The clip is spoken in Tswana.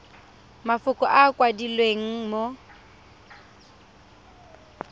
mafoko a a kwadilweng mo